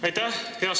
Aitäh!